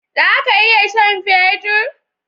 Zaka iya sha'n fetur?